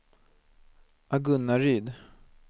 Agunnaryd